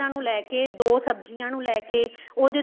ਲੈਕੇ ਦੋ ਸਬਜੀਆਂ ਨੂੰ ਲੈਕੇ ਉਹਦੇ ਤੋ